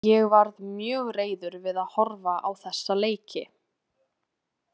Ég varð mjög reiður við að horfa á þessa leiki.